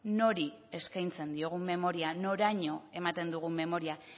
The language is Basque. nori eskaintzen diogun memoria noraino ematen dugun memoria